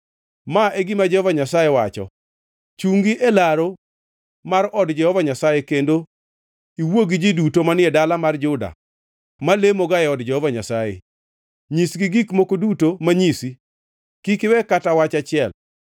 “Ma e gima Jehova Nyasaye wacho: Chungi e laru mar od Jehova Nyasaye kendo iwuo gi ji duto manie dala mar Juda ma lemoga e od Jehova Nyasaye. Nyisgi gik moko duto manyisi; kik iwe kata wach achiel.